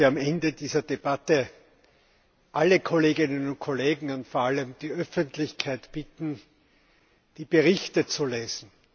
Ich möchte am Ende dieser Debatte alle Kolleginnen und Kollegen und vor allem die Öffentlichkeit bitten, die Berichte zu lesen.